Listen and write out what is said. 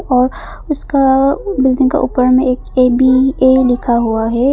और उसका बिल्डिंग के ऊपर में ए बी ए लिखा हुआ है।